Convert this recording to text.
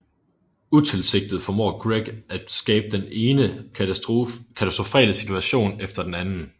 Utilsigtet formår Greg at skabe den ene katastrofale situation efter den anden